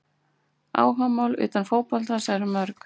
Áhugamál utan fótboltans eru mörg.